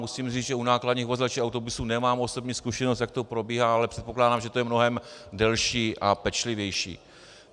Musím říct, že u nákladních vozidel či autobusů nemám osobní zkušenost, jak to probíhá, ale předpokládám, že to je mnohem delší a pečlivější.